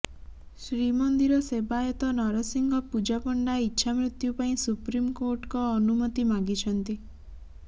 ଶ୍ରୀମନ୍ଦିର ସେବାୟତ ନରସିଂହ ପୂଜାପଣ୍ଡା ଇଚ୍ଛାମୃତ୍ୟୁ ପାଇଁ ସୁପ୍ରିମକୋର୍ଟଙ୍କ ଅନୁମତୀ ମାଗିଛନ୍ତି